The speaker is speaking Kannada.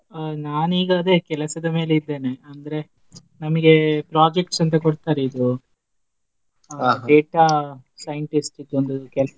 ಅ ನಾನೀಗ ಅದೇ ಕೆಲ್ಸದ ಮೇಲೆ ಇದ್ದೇನೆ ಅಂದ್ರೆ ನಮ್ಗೆ projects ಅಂತ ಕೊಡ್ತಾರೆ ಇದು scientist ದು ಒಂದ್ ಕೆಲ್ಸ.